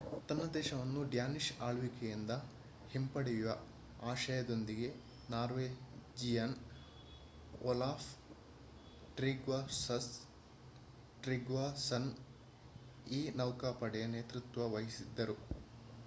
ತನ್ನ ದೇಶವನ್ನು ಡ್ಯಾನಿಶ್ ಆಳ್ವಿಕೆಯಿಂದ ಹಿಂಪಡೆಯುವ ಆಶಯದೊಂದಿಗೆ ನಾರ್ವೇಜಿಯನ್ ಓಲಾಫ್ ಟ್ರಿಗ್ವಾಸನ್ ಈ ನೌಕಾಪಡೆಯ ನೇತೃತ್ವ ವಹಿಸಿದ್ದರು